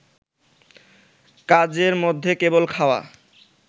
কাজের মধ্যে কেবল খাওয়া